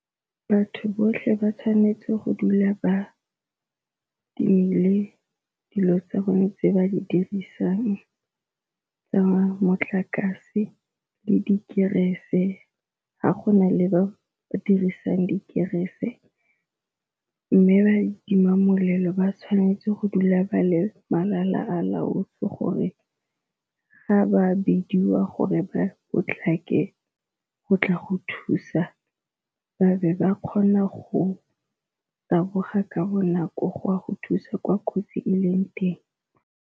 Batho botlhe ba tshwanetse go dula ba timile dilo tsa bone tse ba di dirisang tsa motlakase le dikerese ga gona le ba ba dirisang dikerese, mme ba ditima molelo ba tshwanetse go dula ba le malala a laotsweng gore ga ba bidiwa gore ba potlake go tla go thusa ba be ba kgona go taboga ka bonako gwa go thusa kwa kotsi e leng teng.